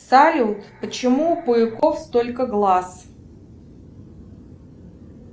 салют почему у пауков столько глаз